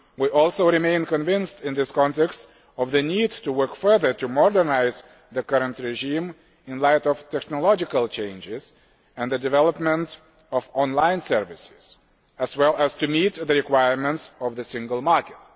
We also remain convinced in this context of the need to work further to modernise the current regime in light of technological changes and the development of online services, as well as to meet the requirements of the single market.